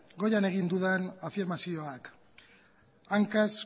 goian egin dudan afirmazioak hankaz